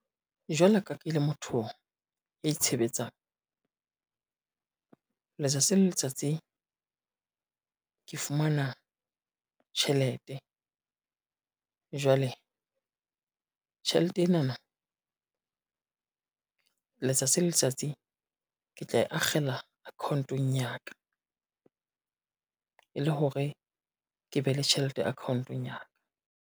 Jwalo ka ke le motho ya itshebetsang, letsatsi le letsatsi ke fumana tjhelete. Jwale tjhelete enana, letsatsi le letsatsi ke tla e akgela account-ong ya ka, e le hore ke be le tjhelete account-ong ya ka.